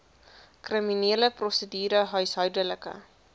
kriminele prosedure huishoudelike